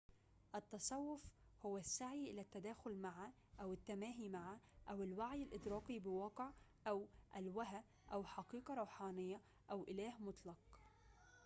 التصوّف هو السعي إلى التداخل مع أو التماهي مع أو الوعي الإدراكي بواقع أو ألوهة أو حقيقة روحانيّة أو إله مطلق